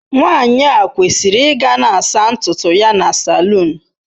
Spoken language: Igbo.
Nwanyị a kwesịrị ịga na-asa ntutu ya na saloon.